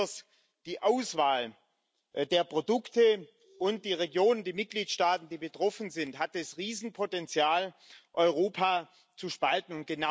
Und besonders die Auswahl der Produkte und der Regionen, der Mitgliedstaaten, die betroffen sind, hat das Riesenpotenzial, Europa zu spalten.